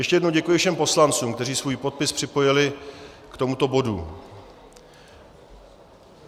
Ještě jednou děkuji všem poslancům, kteří svůj podpis připojili k tomuto bodu.